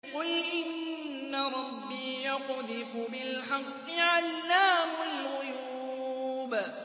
قُلْ إِنَّ رَبِّي يَقْذِفُ بِالْحَقِّ عَلَّامُ الْغُيُوبِ